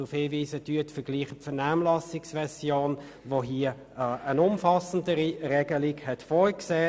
Die Vernehmlassungsversion hat eine umfassendere Regelung vorgesehen.